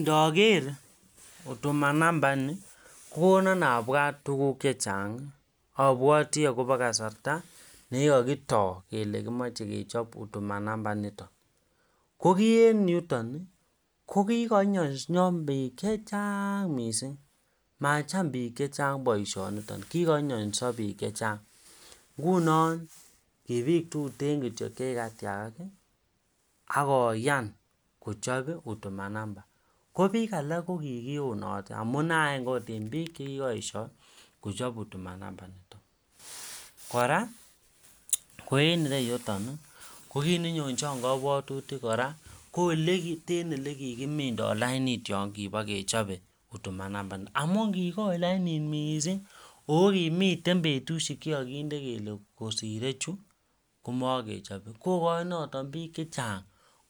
Ndaker huduma nyumba initon kokonon abwati tuguk chechang abwati akoba kasarta nekikakito Kole kimache kechob huduma numba niton ko ki en yuton kokikanyanso bik chechang mising machame bik chechang baishoni kikanyoso bik chechang ngunon ki bik tuten kityyo chekikatiagak akoyan kochab huduma numba kobik alak kokikionate amune en bik chekikayesho kechob huduma initon koraa ko en iyeyuton kokit nenonchan kabwatutik koraa ko elekikimindo lainit yangiba kechobe huduma numba niton amun kikoi lainit mising ako kimiten betushek chekikakinde Kole kosire Chu komakechobe akoyai bik chechang